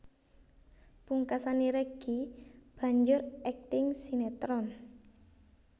Pungkasané Reggy banjur akting sinétron